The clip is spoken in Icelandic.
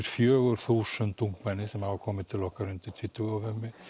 fjögur þúsund ungmenni sem hafa komið til okkar undir tvítugu